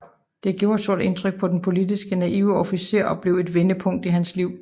Det gjorde et stort indtryk på den politisk naive officer og blev et vendepunkt i hans liv